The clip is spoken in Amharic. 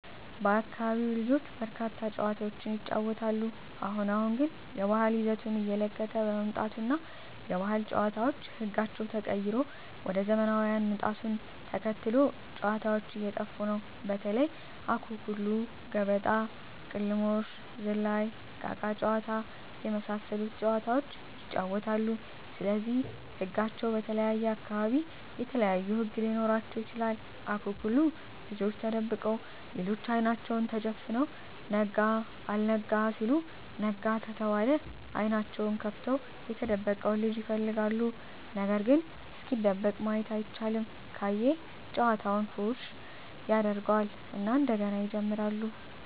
በአካቢው ልጆች በርካታ ጨዋታዎችን ይጫወታሉ አሁን አሁን ግን የባህል ይዘቱን እየለቀቀ በመምጣቱ እና የባህል ጨዋታዎች ህጋቸው ተቀይሮ ወደ ዘመናውያን ምጣቱን ተከትሎ ጨዎታዎች እየጠፉ ነው በተለይ:- አኩኩሉ ገበጣ: ቅልሞሽ ዝላይ እቃቃ ጨዎታ የመሣሠሉት ጨዋታዎች ይጫወታሉ ስለዚህ ህጋቸው በተለየየ አካባቢ የተለያዩ ህግ ሊኖራቸው ይችላል አኩኩሉ ልጆች ተደብቀው ሌሎች አይናቸውን ተጨፍነው ነጋ አልጋ ሲሉ ነጋ ከተባለ አይኔናቸውን ከፍተው የተደበቀውን ልጅ ይፈልጋሉ ነገርግ እስኪደበቅ ማየት አይቻልም ካየ ጨዋታውን ፉረሽ ያጀርገው እና እንደገና ይጀምራሉ።